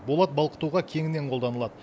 болат балқытуға кеңінен қолданылады